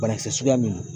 Banakisɛ suguya min don